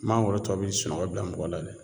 Mangoro tɔw bɛ sunɔgɔ bila mɔgɔ la dɛ